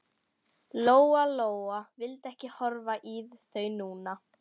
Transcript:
Lóa-Lóa vildi ekki horfa í þau núna.